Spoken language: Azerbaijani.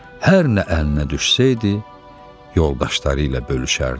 Hər nə əlinə düşsəydi, yoldaşları ilə bölüşərdi.